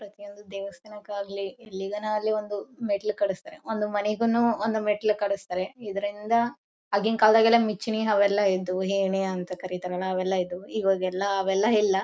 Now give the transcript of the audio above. ಪ್ರತಿಯೊಂದು ದೇವಸ್ತಾನಕ್ಕಾಗಲಿ ಎಲ್ಲಿಗಾನು ಆಗಲಿ ಒಂದು ಮೆಟ್ಟಿಲು ಕಳಿಸ್ತಾರೆ ಒಂದು ಮನೆಗುನು ಒಂದು ಮೆಟ್ಟಿಲು ಕಳಿಸ್ತಾರೆ ಇದರಿಂದ ಆಗಿನ ಕಾಲದಲ್ಲಿ ಎಲ್ಲ ಮಿಚ್ನಿ ಅವೆಲ್ಲಾ ಇದ್ದುವು ಏಣಿ ಅಂತ ಕರೀತಾರಲ್ಲ ಅವೆಲ್ಲ ಇದ್ದ್ವುಇವಾಗೆಲ್ಲ ಅವೆಲ್ಲ ಇಲ್ಲ.